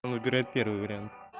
он выбирает первый вариант